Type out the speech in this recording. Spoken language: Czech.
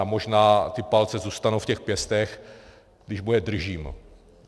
A možná ty palce zůstanou v těch pěstech, když mu je držím.